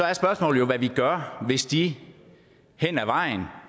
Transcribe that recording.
er spørgsmålet hvad vi så gør hvis de hen ad vejen